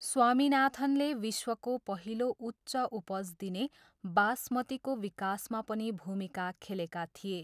स्वामीनाथनले विश्वको पहिलो उच्च उपज दिने बासमतीको विकासमा पनि भूमिका खेलेका थिए।